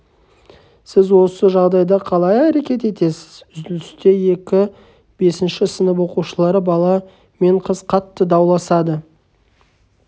сіз осы жағдайда қалай әрекет етесіз үзілісте екі бесінші сынып оқушылары бала мен қыз қатты дауласады